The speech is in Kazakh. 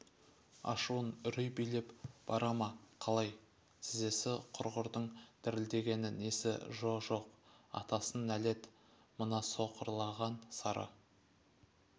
ашуын үрей билеп бара ма қалай тізесі құрғырдың дірілдегені несі жо-жоқ атасына нәлет мына сықырлаған сары